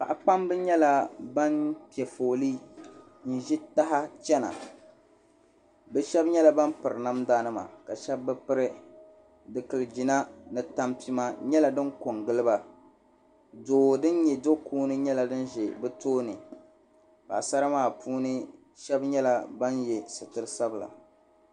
Paɣa kpambi nyɛla ban piɛ fooli n ʒi taha chɛna bi shab nyɛla ban piri namda nima ka shab bi piri dikili jina ni tampima nyɛla din ko n giliba doo din nyɛ do kuuni nyɛla din bɛ bi tooni paɣasara maa shab nyɛla ban yɛ sitiri sabila